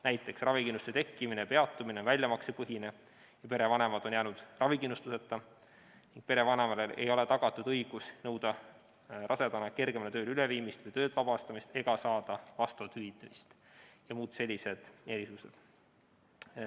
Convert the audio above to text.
Näiteks, ravikindlustuse tekkimine või peatumine on väljamaksepõhine, kui perevanemad on jäänud ravikindlustuseta, ning perevanemale ei ole tagatud õigust nõuda rasedana kergemale tööle üleviimist või töölt vabastamist ega saada vastavat hüvitist, ja on veel muud sellised erisused.